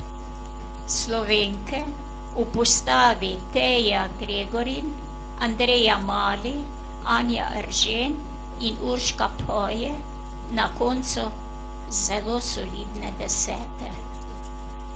Slovenke v postavi Teja Gregorin, Andreja Mali, Anja Eržen in Urška Poje na koncu zelo solidne desete.